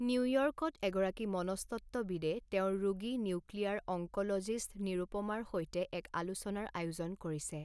নিউয়ৰ্কত এগৰাকী মনস্তত্ত্ববিদে তেওঁৰ ৰোগী নিউক্লিয়াৰ অংক'ল'জিষ্ট নিৰূপমাৰ সৈতে এক আলোচনাৰ আয়োজন কৰিছে।